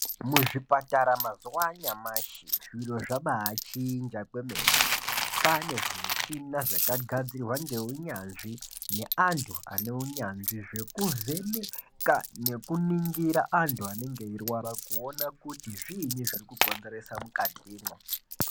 Mu zvipatara mazuva anyamashi zviro zvabai chinja kwemene kwane zvi mushina zvaka gadzirwa nge unyanzvi ne antu ane unyanzvi zveku vheneka neku ningira antu anenge eyi rwara ku ona kuti zvinyi zviri ku konzeresa mukati mwo.